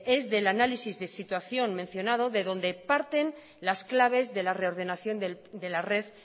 es del análisis de situación mencionado de donde parten las claves de la reordenación de la red